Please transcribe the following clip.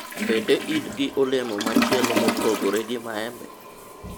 bende in gi olemo machielo mopogore gi maembe?